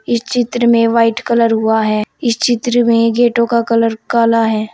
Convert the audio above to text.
इस चित्र में वाइट कलर हुआ है इस चित्र में गेटों का कलर काला है।